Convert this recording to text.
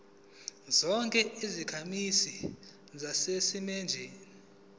zonke izakhamizi zaseningizimu